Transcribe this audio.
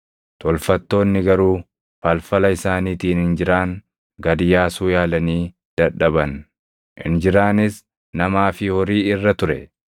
Tolfattoonni garuu falfala isaaniitiin injiraan gad yaasuu yaalanii dadhaban. Injiraanis namaa fi horii irra ture.